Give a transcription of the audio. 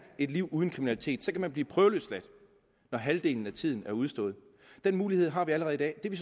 et liv uden kriminalitet så kan man blive prøveløsladt når halvdelen af tiden er udstået den mulighed har vi allerede i dag det vi